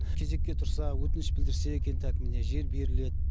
кезекке тұрса өтінішке білдірсе екен так міне жер беріледі